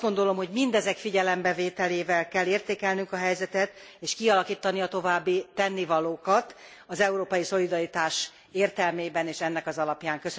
Azt gondolom, hogy mindezek figyelembevételével kell értékelnünk a helyzetet és kialakítani a további tennivalókat az európai szolidaritás értelmében és ennek az alapján.